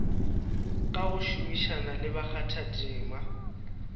ka go šomišana le bakgathatema